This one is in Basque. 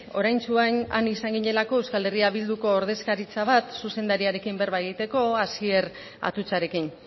oraintsu han izan ginelako eh bilduko ordezkaritza bat zuzendariarekin berba egiteko asier atutxarekin